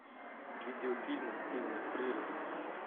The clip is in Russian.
видеофильмы стивена фрирза